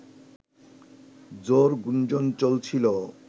জোর গুঞ্জণ চলছিলো